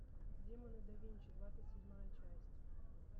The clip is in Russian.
демоны да винчи двадцать седьмая часть